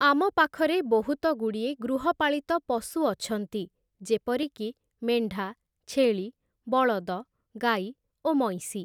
ଆମ ପାଖରେ ବହୁତଗୁଡ଼ିଏ ଗୃହପାଳିତ ପଶୁ ଅଛନ୍ତି, ଯେପରିକି ମେଣ୍ଢା, ଛେଳି, ବଳଦ, ଗାଈ, ଓ ମଇଁଷି ।